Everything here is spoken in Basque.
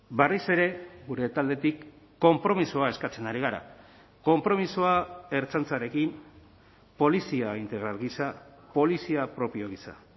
berriz ere gure taldetik konpromisoa eskatzen ari gara konpromisoa ertzaintzarekin polizia integral gisa polizia propio gisa